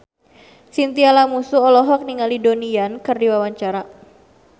Chintya Lamusu olohok ningali Donnie Yan keur diwawancara